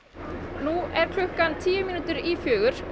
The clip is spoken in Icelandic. nú er klukkan tíu mínútur í fjögur og